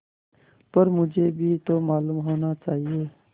पर मुझे भी तो मालूम होना चाहिए